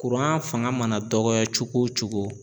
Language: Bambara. Kuran fanga mana dɔgɔya cogo o cogo